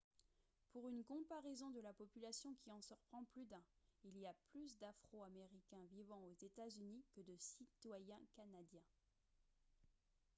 pour une comparaison de la population qui en surprend plus d'un il y a plus d'afro-américains vivant aux états-unis que de citoyens canadiens